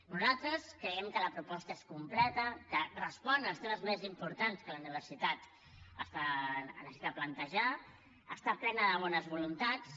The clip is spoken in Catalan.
nosaltres creiem que la proposta és completa que respon als temes més importants que la universitat necessita plantejar està plena de bones voluntats